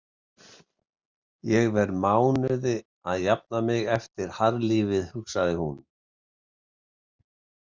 Ég verð mánuði að jafna mig eftir harðlífið, hugsar hún.